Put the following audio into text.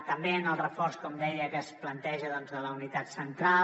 també en el reforç com deia que es planteja de la unitat central